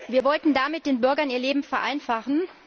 Wir wollten damit den Bürgern ihr Leben vereinfachen.